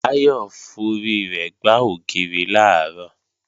Báyọ̀ forí rẹ̀ gbá ògiri làárọ̀